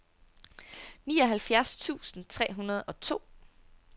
nioghalvfjerds tusind tre hundrede og to